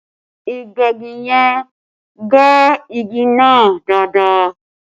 Ìgbẹ́gi yẹn gbẹ́ igi náà dáadáa